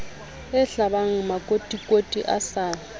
e hlabang makotikoti a sa